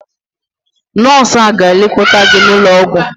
Nọọsụ ahụ ga-lekọta gị n'ụlọ ọgwụ.